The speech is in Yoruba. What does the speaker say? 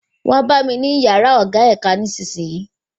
Wá bá mi ní yàrá ọ̀gá ẹ̀ka nísisìyìí